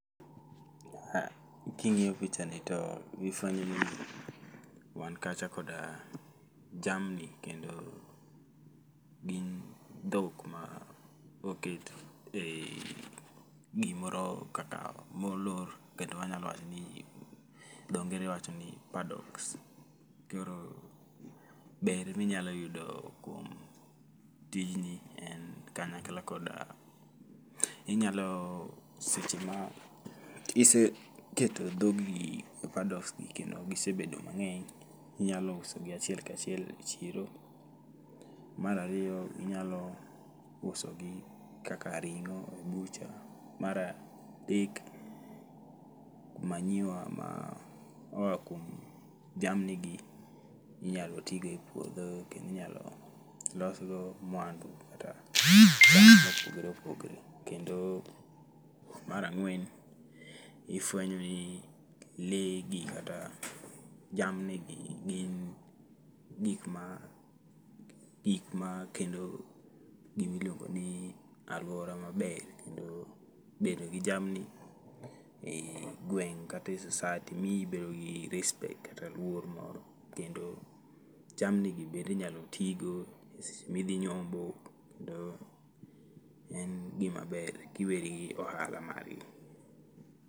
Ah, king'iyo picha ni to ifwenyo ni wan kacha koda jamni, kendo gin dhok ma oket ei gimoro kaka molor. Kendo wanyalo wacho ni, dho ngere wacho ni paddocks. Koro ber minyalo yudo kuom tijni en kanyakla koda inyalo seche ma iseketo dhog gi e paddocks gi kendo gisebedo mang'eny, inyalo usogi achiel kachiel e chiro. Marariyo inyalo usogi kaka ring'o e bucha. Maradek, manyiwa ma oa kuom jamni gi inyalo tigo e puodho kendo inyalo losgo mwandu kata gik moko mopogre opogre. Kendo marang'wen, ifwenyo ni lee gi kata jamni gi gin gik ma gikma keto gimiluongo ni alwora maber. Kendo bedo gi jamni ei gweng' kate society miyi ibedo gi respect kata luor moro. Kendo jamni gi bendinyalo tigo e seche midhi nyombo, kendo en gima ber kiweri gi ohala margi.